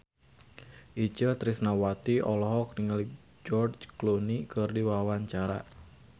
Itje Tresnawati olohok ningali George Clooney keur diwawancara